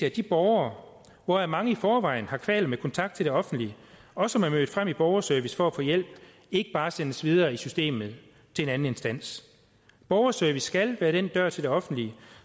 at de borgere hvoraf mange i forvejen har kvaler med kontakt til det offentlige og som er mødt frem i borgerservice for at få hjælp ikke bare sendes videre i systemet til en anden instans borgerservice skal være den dør til det offentlige